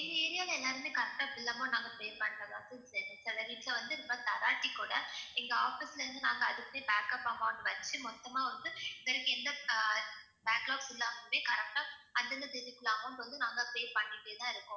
எங்க area ல எல்லாருமே correct ஆ bill amount நாங்க pay பண்ணிட்டோம் சில வீட்ல வந்து இது மாதிரி தராட்டி கூட எங்க office ல இருந்து நாங்க அதுக்குனே backup amount வெச்சி மொத்தமா வந்து இது வரைக்கும் எந்த அஹ் backup எல்லாத்துக்குமே correct ஆ அந்தந்த தேதிகுள்ள amount வந்து நாங்க pay பண்ணிட்டே தான் இருக்கோம்